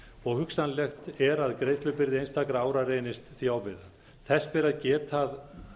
og hugsanlegt er að greiðslubyrði einstakra ára reynist því ofviða þess ber að geta að